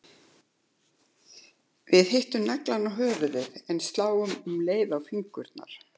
Við hittum naglann á höfuðið en sláum um leið á fingurna.